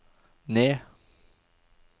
ned